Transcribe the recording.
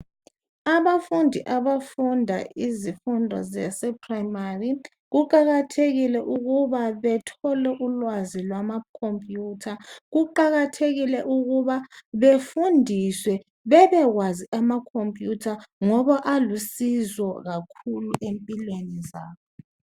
Abafundi abafunda izifundo zaseprimary kuqakathekile ukuba bethole ulwazi lwamacomputer kuqakathekile ukuba befundiswe bebekwazi amacomputer ngoba alusizo kakhulu empilweni zabo.